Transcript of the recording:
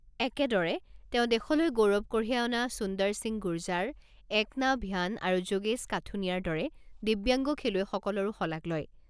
একেদৰে তেওঁ দেশলৈ গৌৰৱ কঢ়িয়াই অনা সুন্দৰ সিং গুৰজাৰ, একতা ভ্যান আৰু যোগেশ কাথুনিয়াৰ দৰে দিব্যাংগ খেলুৱৈসকলৰো শলাগ লয়।